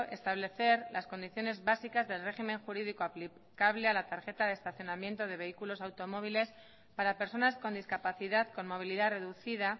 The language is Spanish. establecer las condiciones básicas del régimen jurídico aplicable a la tarjeta de estacionamiento de vehículos automóviles para personas con discapacidad con movilidad reducida